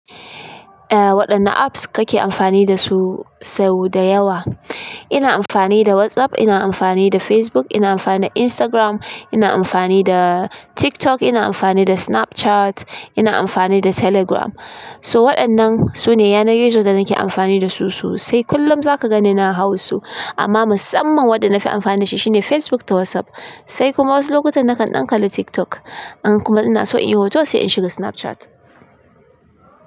Ah, waɗanne apps kake amfani dasu sau da yawa? Ina amfani da WhatsApp, ina amfani da Facebook, ina amfani da Instagram, ina amfani da TikTok, ina amfani da Snapchat, ina amfani da Telegram. So waɗannan su ne yanar gizo da nake amfani dasu sosai sai kullum za ka ganni na hau su. Amma musamman waɗanda na fi amfani da shi shine Facebook da WhatsApp. Sai kuma wasu lokuta nakan ɗan kalli TikTok. In kuma ina so in yi hoto sai in shiga Snapchat.